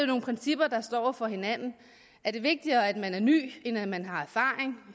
nogle principper over for hinanden er det vigtigere at man er ny end at man har erfaring